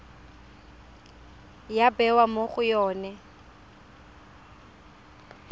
ya bewa mo go yone